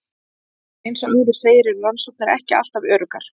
Eins og áður segir eru rannsóknir ekki alltaf öruggar.